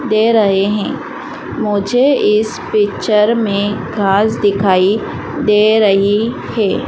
दे रहें हैं मुझे इस पिक्चर में घास दिखाई दे रहीं हैं।